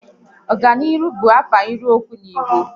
Oganihu